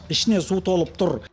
ішіне су толып тұр